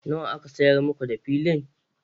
Nawa aka sayar ma da Makau filin?